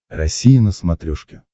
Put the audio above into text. россия на смотрешке